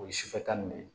O ye sufɛ ta nin de ye